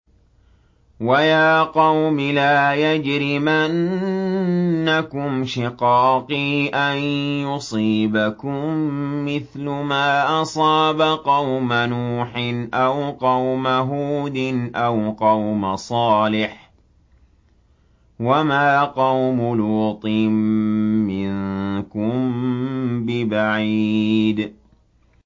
وَيَا قَوْمِ لَا يَجْرِمَنَّكُمْ شِقَاقِي أَن يُصِيبَكُم مِّثْلُ مَا أَصَابَ قَوْمَ نُوحٍ أَوْ قَوْمَ هُودٍ أَوْ قَوْمَ صَالِحٍ ۚ وَمَا قَوْمُ لُوطٍ مِّنكُم بِبَعِيدٍ